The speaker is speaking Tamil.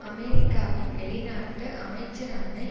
அமெரிக்காவின் வெளிநாட்டு அமைச்சரான